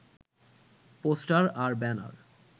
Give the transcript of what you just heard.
poster আর banner